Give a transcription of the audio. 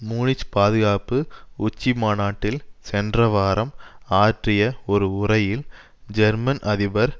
Munich பாதுகாப்பு உச்சிமாநாட்டில் சென்றவாரம் ஆற்றிய ஒரு உரையில் ஜெர்மன் அதிபர்